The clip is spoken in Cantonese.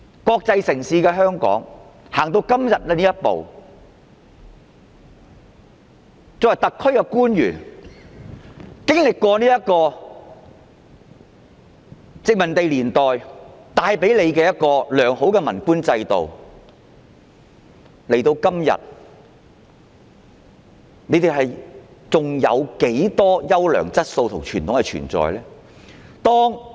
香港是一個國際城市，特區官員經歷過殖民地年代帶給他們的良好文官制度，到了今天，還剩下多少優良質素和傳統呢？